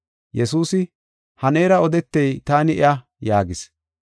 Yesuusi, “Ha neera odetey taani iya” yaagis.